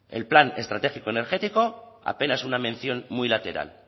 el plan estratégico energético apenas una mención muy lateral